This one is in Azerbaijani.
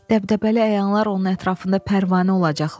Dəbdəbəli əyanlar onun ətrafında pərvanə olacaqlar.